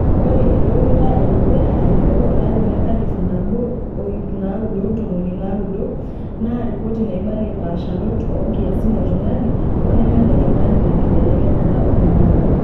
Ore eroruata edukuya aiteru olari le 1990 naa ripoti naibalie mpaasharot oo nkiasin e tungani oneme ne tung'ni tenkilebekenyata oling'ang'e.